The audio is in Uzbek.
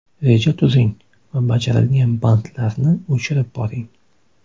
Reja tuzing va bajarilgan bandlarni o‘chirib boring.